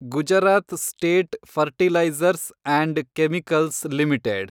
Gujarat state fertilizers and chemicals limited